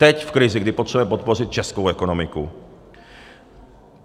Teď, v krizi, kdy potřebujeme podpořit českou ekonomiku.